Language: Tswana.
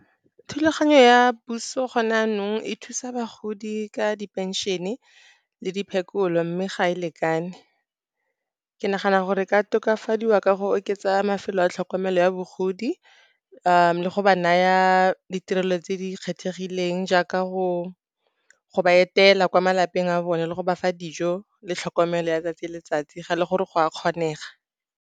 Thulaganyo ya puso gone jaanong, e thusa bagodi ka diphenšene le diphekolo, mme ga e lekane. Ke nagana gore e ka tokafadiwa ka go oketsa mafelo a tlhokomelo ya bogodi le go ba naya ditirelo tse di kgethegileng jaaka go ba etela kwa malapeng a bone, le go ba fa dijo le tlhokomelo ya 'tsatsi le letsatsi, ga e le gore go a kgonega.